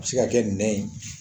A bɛ se ka kɛ nɛ ye